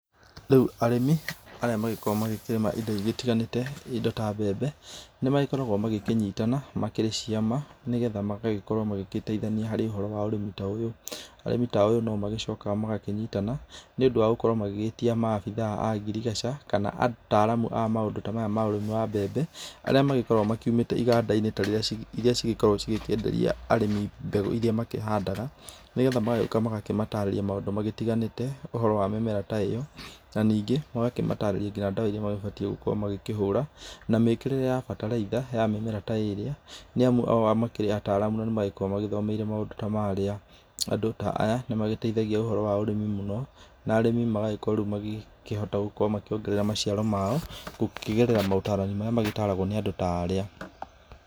Riu arĩmi arĩa magĩkoragwo magĩkĩrĩma indo igĩtiganĩte; indo ta mbembe, nĩmagĩkoragwo magĩkĩnyitana makĩrĩ ciama, nĩgetha magagĩkorwo magĩgĩteithania harĩ ũhoro wa ũrĩmi ta ũyũ. Arĩmi ta aya no magĩcokaga magakĩnyitana nĩundũ wa gũkorwo magĩgĩtia maabitha a ngirigaca kana ataaramu a maũndũ ta maya ma ũrĩmi wa mbembe, arĩa magĩkoragwo makiumĩte iganda-inĩ ta irĩa cigĩkoragwo cigĩkĩenderia arĩmi mbegũ irĩa makĩhandaga, nĩgetha magagĩũka magakĩmatarĩria maũndũ magĩtiganĩte ũhoro wa mĩmera ta ĩyo. Na ningĩ magakĩmatarĩria nginya ndawa irĩa magibatiĩ gũkorwo magĩkĩhũra, na mĩkĩrĩre ya bataraitha ya mĩmera ta ĩrĩa, nĩamu o makĩrĩ ataaramu na magĩkoragwo magĩthomeire maũndũ ta marĩa. Andũ ta aya, nĩmagĩteithagia ũhoro wa ũrĩmi mũno, na arĩmi magagĩkorwo rĩu magĩkĩhota gũkorwo makĩongerera maciaro mao gũkĩgerera maũtarani marĩa magĩtaragwo nĩ andũ ta aarĩa.